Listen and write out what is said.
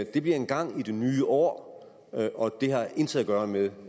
det bliver engang i det nye år og det har intet at gøre med